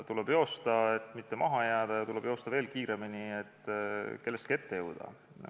Tuleb joosta, et mitte maha jääda, ja tuleb joosta veel kiiremini, et kellestki ette jõuda.